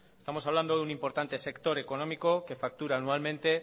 estamos hablando de un importante sector económico que factura anualmente